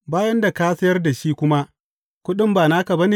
Bayan da ka sayar da shi kuma, kuɗin ba naka ba ne?